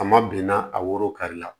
A ma binna a woro kari la